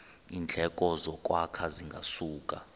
iindleko zokwakha zingasuka